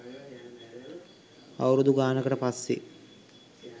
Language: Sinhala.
අවුරුදු ගානකට පස්සේ